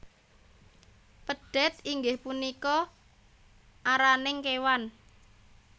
Pedhet inggih punika araning kewan